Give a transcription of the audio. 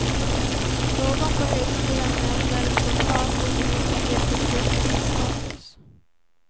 Någon på högskolan nämner spontant de olika yrkesgruppernas status.